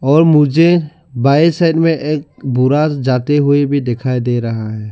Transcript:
और मुझे बाएं साइड में एक बूढ़ा जाते हुए भी दिखाई दे रहा है।